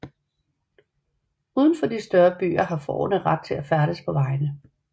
Uden for de større byer har fårene ret til at færdes på vejene